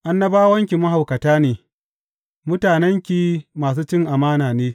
Annabawanki mahaukata ne mutanenki masu cin amana ne.